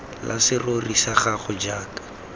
la serori sa gago jaaka